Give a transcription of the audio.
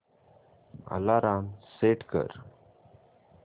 alarm set कर